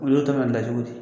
U y'o ta ka n dajugu di